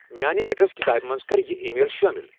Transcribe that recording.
میانِہ ایڈرس کِتابِہ منز کر یِہ ای میل شٲمل ۔